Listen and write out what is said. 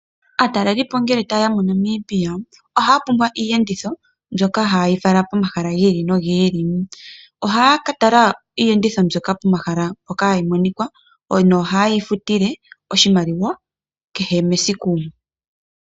Aatalelipo ngele taye ya moNamibia ohaya pumbwa iiyenditho mbyoka hayi ya fala pomahala gi ili nogi ili. Ohaya ka tala iiyenditho mbyoka pomahala mpoka hayi monika nohaye yi futile oshimaliwa kehe mesiku.